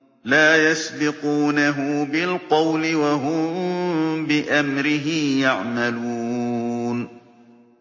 لَا يَسْبِقُونَهُ بِالْقَوْلِ وَهُم بِأَمْرِهِ يَعْمَلُونَ